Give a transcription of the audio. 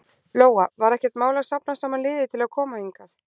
Lóa: Var ekkert mál að safna saman liði til að koma hingað?